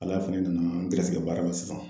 Ala fɛnɛ nana n gɛrɛsɛgɛ baara la sisan.